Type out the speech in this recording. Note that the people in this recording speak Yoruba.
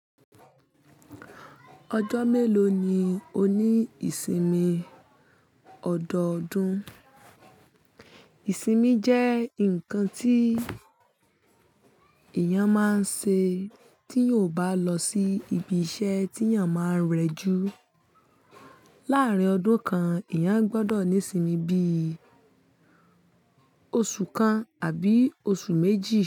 Ọjọ́ mélòó ni o ní ìsinmi ọdọọdún? Ìsinmi jẹ́ ǹkan tí èèyàn máań ṣe tí o bá lọ sí ibi iṣẹ́ tí èèyàn máa ń rẹjú. Láàrín ọdún kan, èèyàn gbọdọ̀ ní ìsinmi bíi oṣù kan àbí oṣù méjì.